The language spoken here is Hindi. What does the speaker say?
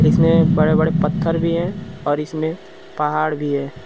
इसमें बड़े बड़े पत्थर भी है और इसमें पहाड़ भी है।